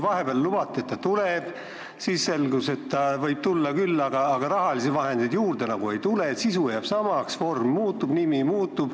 Vahepeal lubati, et ta tuleb, siis selgus, et võib tulla küll, aga raha juurde nagu ei tule, sisu jääb samaks, aga vorm muutub ja nimi muutub.